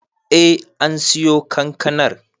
Eh an siyo kankanar